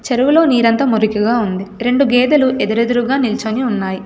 చెరువులో నీరంతా మురికగా ఉంది రెండు గేదెలు ఎదురెదురుగా నిల్చొని ఉన్నాయి.